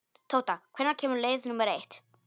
Tóta, hvenær kemur leið númer eitt?